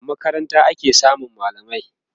a makaranta ake samun mallamai